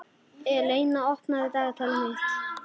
Eleina, opnaðu dagatalið mitt.